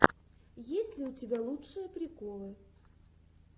есть ли у тебя лучшие приколы